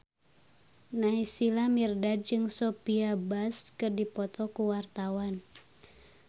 Naysila Mirdad jeung Sophia Bush keur dipoto ku wartawan